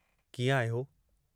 कीअं आहियो?